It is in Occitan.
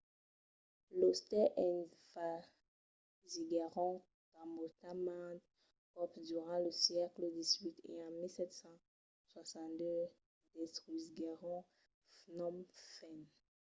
los tais envasiguèron cambòtja mantes còps durant lo sègle xviii e en 1772 destrusiguèron phnom phen